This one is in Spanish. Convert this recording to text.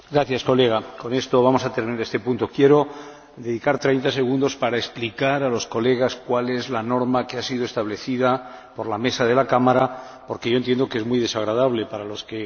Quiero dedicar treinta segundos a explicar a sus Señorías cuál es la norma que ha sido establecida por la Mesa de la Cámara, porque yo entiendo que es muy desagradable, para los que piden la palabra, no tenerla.